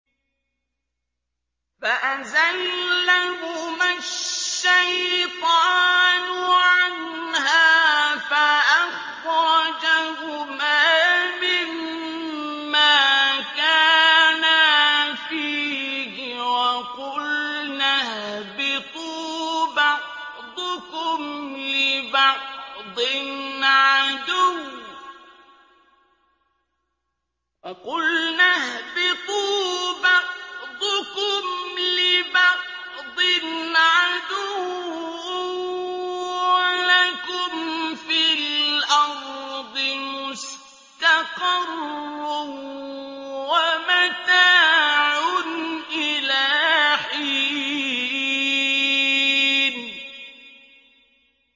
فَأَزَلَّهُمَا الشَّيْطَانُ عَنْهَا فَأَخْرَجَهُمَا مِمَّا كَانَا فِيهِ ۖ وَقُلْنَا اهْبِطُوا بَعْضُكُمْ لِبَعْضٍ عَدُوٌّ ۖ وَلَكُمْ فِي الْأَرْضِ مُسْتَقَرٌّ وَمَتَاعٌ إِلَىٰ حِينٍ